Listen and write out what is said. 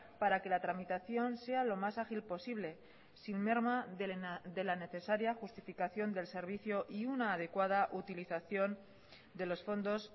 para que la tramitación sea lo más ágil posible sin merma de la necesaria justificación del servicio y una adecuada utilización de los fondos